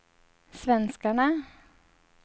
svenskarna